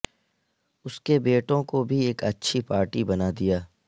اس کے بیٹوں کو بھی ایک اچھی پارٹی بنا دیا